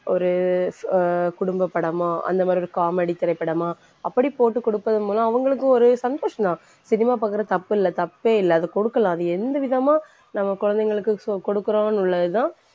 ஒரு அஹ் குடும்பப்படமா அந்த மாதிரி ஒரு comedy திரைப்படமா அப்படி போட்டு கொடுப்பதன் மூலம் அவங்களுக்கும் ஒரு சந்தோஷந்தான். cinema பாக்கறது தப்பில்லை தப்பேயில்லை அதை கொடுக்கலாம் அது எந்த விதமா நம்ம குழந்தைங்களுக்கு so கொடுக்கிறோன்னு உள்ளதுதான்